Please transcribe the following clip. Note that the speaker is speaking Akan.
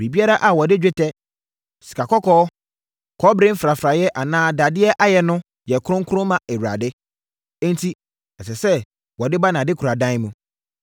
Biribiara a wɔde dwetɛ, sikakɔkɔɔ, kɔbere mfrafraeɛ anaa dadeɛ ayɛ no yɛ kronkron ma Awurade, enti ɛsɛ sɛ wɔde ba nʼadekoradan mu.”